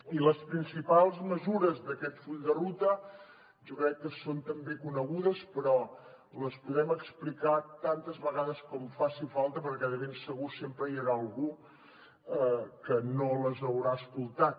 i les principals mesures d’aquest full de ruta jo crec que són també conegudes però les podem explicar tantes vegades com faci falta perquè de ben segur sempre hi haurà algú que no les haurà escoltat